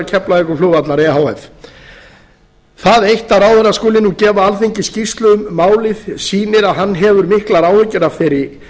keflavíkurflugvallar e h f það eitt að ráðherra skuli nú gefa alþingi skýrslu um málið sýnir að hann hefur miklar áhyggjur af þeirri